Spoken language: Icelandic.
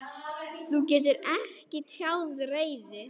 Þú getur ekki tjáð reiði.